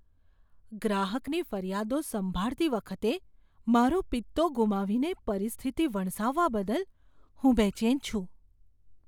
ગ્રાહકની ફરિયાદો સંભાળતી વખતે મારો પિત્તો ગુમાવીને પરિસ્થિતિ વણસાવવા બદલ હું બેચેન છું.